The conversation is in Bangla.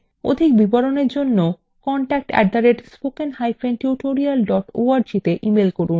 অধিক বিবরণের জন্য contact @spokentutorial org তে ইমেল করুন